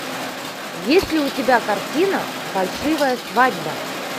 есть ли у тебя картина фальшивая свадьба